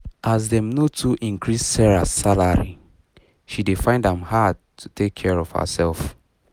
as dem no too increase sarah salary she dey find am hard to take care of herself